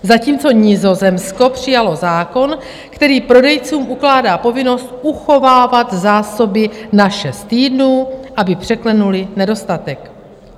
Zatímco Nizozemsko přijalo zákon, který prodejcům ukládá povinnost uchovávat zásoby na šest týdnů, aby překlenuli nedostatek.